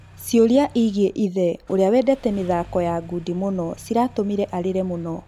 Ciũria igiĩ ithe ũria wendete mĩthako ya ngundi mũno ciratũmire arĩre muno.